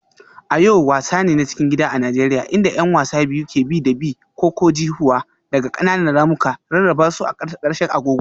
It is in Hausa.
Ayo wasa ne na cikin gida a Najeriya inda 'yan wasa biyu ke bi da bi. -ko-ko-ji-huwa daga ƙananan ramuka, rarraba su a ƙarƙashin agogo.